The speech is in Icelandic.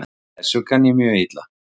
Þessu kann ég mjög illa.